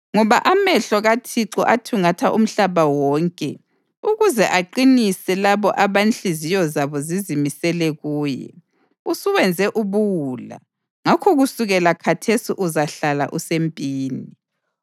Ngoba amehlo kaThixo athungatha umhlaba wonke ukuze aqinise labo abanhliziyo zabo zizimisele kuye. Usuwenze ubuwula, ngakho kusukela khathesi uzahlala usempini.”